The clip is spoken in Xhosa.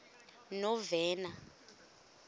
novena